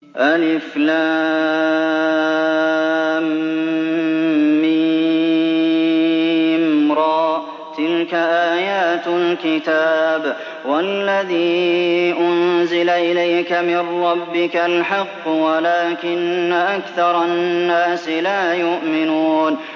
المر ۚ تِلْكَ آيَاتُ الْكِتَابِ ۗ وَالَّذِي أُنزِلَ إِلَيْكَ مِن رَّبِّكَ الْحَقُّ وَلَٰكِنَّ أَكْثَرَ النَّاسِ لَا يُؤْمِنُونَ